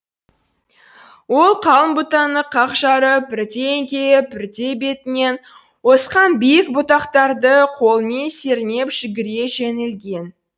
ол қалың бұтаны қақ жарып бірде еңкейіп бірде бетінен осқан биік бұтақтарды қолымен сермеп жүгіре жөнелген